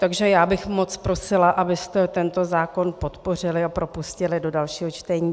Takže já bych moc prosila, abyste tento zákon podpořili a propustili do dalšího čtení.